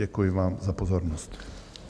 Děkuji vám za pozornost.